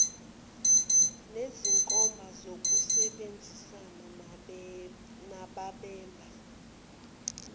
nezinkomba zokusebenzisana nababambe